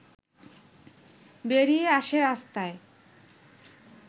বেরিয়ে আসে রাস্তায়